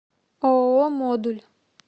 ооо модуль